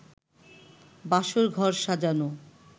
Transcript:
বাসর ঘর সাজানো